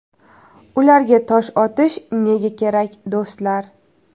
Ularga tosh otish nega kerak, do‘stlar?